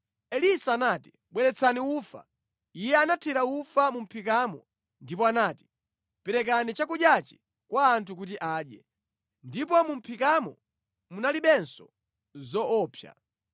Elisa anati, “Bweretsani ufa.” Iye anathira ufa mu mʼphikamo ndipo anati, “Perekani chakudyachi kwa anthu kuti adye.” Ndipo mu mʼphikamo munalibenso zoopsa.